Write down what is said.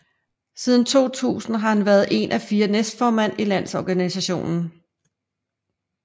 Siden 2000 har han været en af fire næstformænd i landsorganisationen